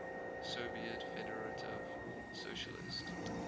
soviet federative socialist